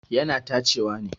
Yana tacewa ne.